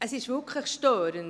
Es ist wirklich störend.